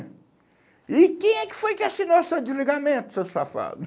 E quem é que foi que assinou o seu desligamento, seu safado?